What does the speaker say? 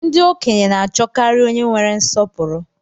Ndị okenye na achọkarị onye nwere nsọpụrụ